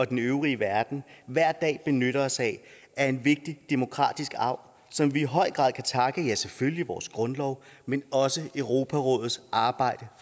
den øvrige verden hver dag benytter os af er en vigtig demokratisk arv som vi i høj grad kan takke ja selvfølgelig vores grundlov men også europarådets arbejde